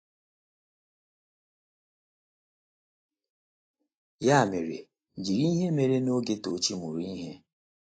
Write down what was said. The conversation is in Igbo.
Ya mere, jiri ihe mere n’oge Tochi mụrụ ihe.